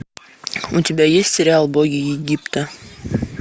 у тебя есть сериал боги египта